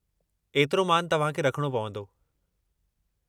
एतिरो मानु तव्हांखे रखिणो पवंदो।